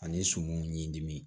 Ani sumanw ni dimi